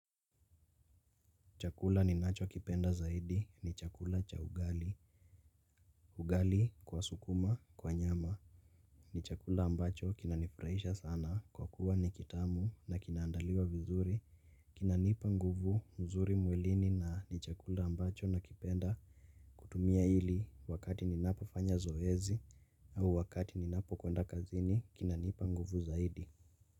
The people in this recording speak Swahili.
Chakula ni nacho kipenda zaidi ni chakula cha ugali, ugali kwa sukuma, kwa nyama, ni chakula ambacho kinanifurahisha sana kwa kuwa ni kitamu na kinaandaliwa vizuri, kinanipa nguvu mzuri mwilini na ni chakula ambacho na kipenda kutumia ili wakati ni napo fanya zoezi au wakati ni napo kwenda kazini kinanipa nguvu zaidi.